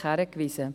hin.